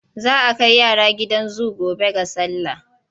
Za a kai yara gidan zu gobe ga sallah.